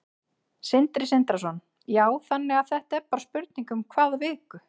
Sindri Sindrason: Já, þannig að þetta er bara spurning um hvað viku?